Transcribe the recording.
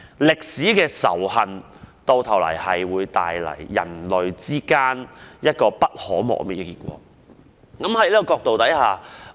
歷史的仇恨，最終會為人類帶來不可磨滅的結果。